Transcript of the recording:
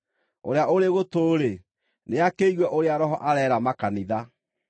Ũrĩa ũrĩ gũtũ-rĩ, nĩakĩigue ũrĩa Roho areera makanitha.